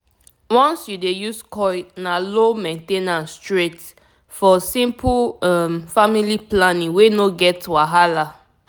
once you dey use coil na low main ten ance straight -for simple um family planning wey no get wahala